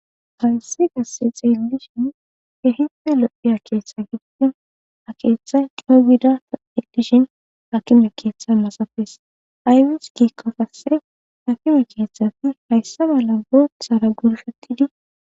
Hayssi kasse xeellishin hehipe lo'iya keeththa gididen a keeththay coo gida ta elishin hakime keeththa masates aywis giikka kasse hakime keeththafi hayssa mala booththara gurshettidi